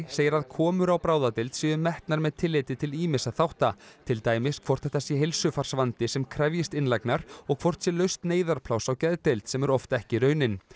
segir að komur á bráðadeild séu metnar með tilliti til ýmissa þátta til dæmis hvort þetta sé heilsufarsvandi sem krefjist innlagnar og hvort sé laust neyðarpláss á geðdeild sem er oft ekki raunin